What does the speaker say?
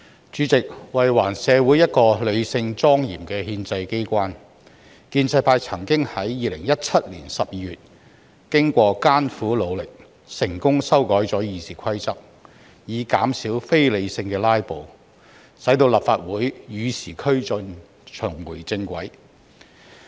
主席，為還社會一個理性、莊嚴的立法機關，建制派曾於2017年12月經艱苦努力，成功修改了《議事規則》，以減少非理性的"拉布"，使立法會與時俱進，重回正軌。